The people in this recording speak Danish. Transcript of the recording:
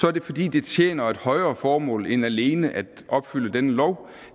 er det fordi det tjener et højere formål end alene at opfylde denne lov